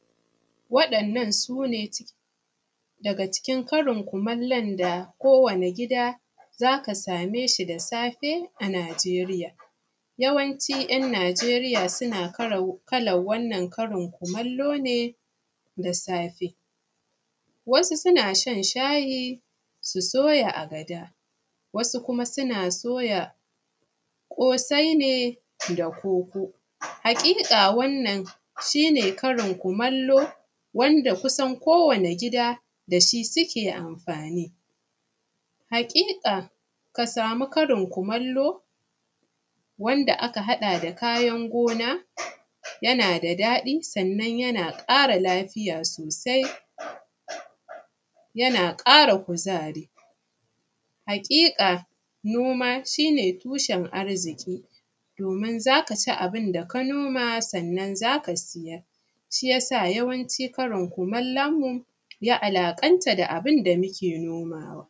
waɗannan su ne daga cikin karin kumallon da ko wani gida za ka same shi a nijeriya yawancin ‘yan nijeriya suna karin kumallo ne da safe wasu suna shan shayi su soya agada wasu kuma suna soya kosai da koko haƙiƙa wannan shi ne karin kumallo wanda kusan kowani gida da shi suke amfani haƙiƙa ka samu karin kumallo wanda aka haɗa da kayan gona yana da daɗi sannan yana ƙara lafiya sosai yana kara kuzari haƙiƙa noma shi ne tushen arziki domin zaka ci abun da ka noma sannan zaka siyar da shi, shi yasa yawancin karin kumallon mu ya alaƙanta da abun da mu ke nomawa